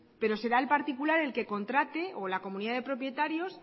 pero será el particular el que contrate o la comunidad de propietarios